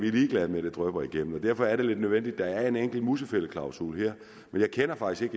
er ligeglade med at det drypper igennem vil derfor er det lidt nødvendigt at der er en enkelt musefældeklausul her jeg kender faktisk